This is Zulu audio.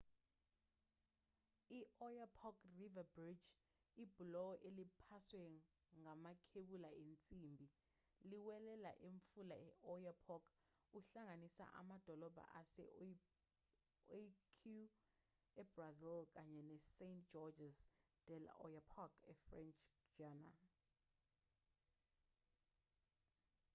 i-oyapock river bridge ibhuloho eliphaswe ngamakhebula ensimbi liwelela umfula i-oyapock uhlanganisa amadolobha ase-oiapque ebrazil kanye nesaint-georges de i'oyapock efrench guiana